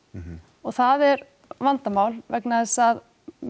og það er vandamál vegna þess að